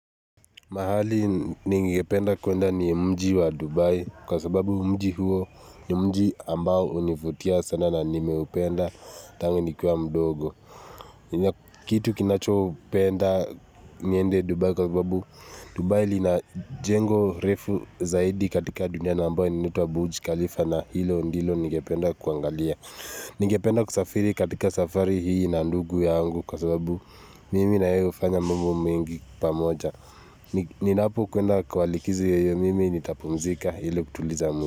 Mahali ningependa kuenda ni mji wa Dubai kwa sababu mji huo ni mji ambao univutia sana na nimeupenda tangu nikuwa mdogo. Kitu kinacho upenda niende Dubai kwa sababu Dubai lina jengo refu zaidi katika dunia na ambao inaitwa buj Khalifa na hilo ndilo ningependa kuangalia. Ningependa kusafiri katika safari hii na ndugu yangu kwa sababu mimi na yeye hufanya mungu mingi pamoja. Ninapokwenda kwa likizi yenye mimi, nitapumzika hili kutuliza mimi.